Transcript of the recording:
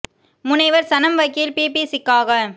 முனைவர் சனம் வகில் பிபிசிக்காக